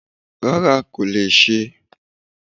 Rárá kò lè Ṣé.